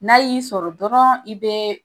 N'a y'i sɔrɔ dɔrɔn, i bɛ